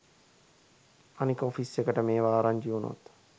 අනික ඔෆිස් එකට මේව ආරංචි වුණොත්